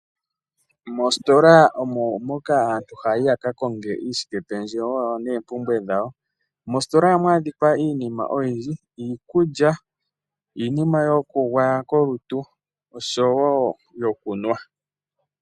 Moositola omo moka aantu haa yi yaka konge uushikependjewo wa wo nosho woo oompumbwe dhawo. Oha mu adhika iiinima oyindji ngaashi iikulya, omagadhi goku gwaya kolutu nosho woo iikunwa.